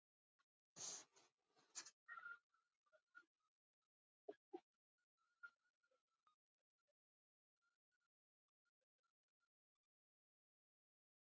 Og ekki í fyrsta sinn heldur.